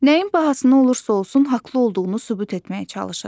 Nəyin bahasına olursa olsun haqlı olduğunu sübut etməyə çalışır.